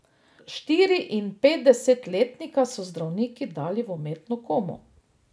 Štiriinpetdesetletnika so zdravniki dali v umetno komo.